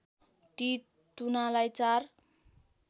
ती तुनालाई चार